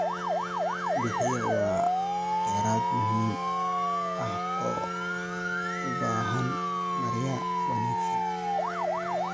Biyaha waa kheyraad muhiim ah oo u baahan maarayn wanaagsan.